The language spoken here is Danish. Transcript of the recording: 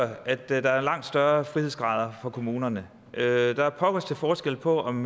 at der der var langt større frihedsgrader for kommunerne der er pokker til forskel på om